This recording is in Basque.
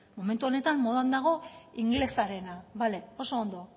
momentu honetan modan dago ingelesarena bale oso ondo